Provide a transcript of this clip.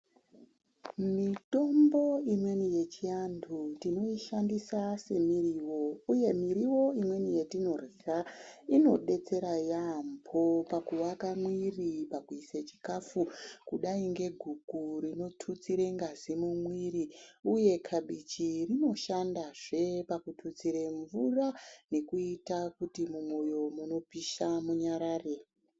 Mitombo imweni yechivandu tinoishandisa semuriwo uye miriwo imweni yatinorwaa inodetsera yambo pakuaka muiiri pakisa chikafu kudai ngeguku rinotutsira ngazi mumiri uye kabichi rinoshandazve pakututsira mvura nekuita kuti mumoyo munopisha munyarare.